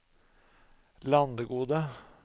Landegode